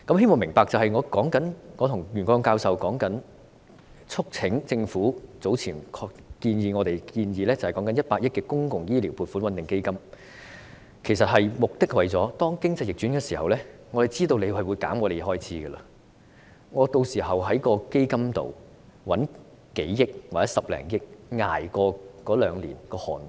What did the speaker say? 我希望大家明白，我和袁國勇教授促請政府考慮我們早前建議的100億元公帑醫療撥款穩定基金，目的是當經濟逆轉的時候，我們知道政府會削減我們的開支，屆時我們可以在基金裏動用數億元或者10多億元，捱過兩年寒冬。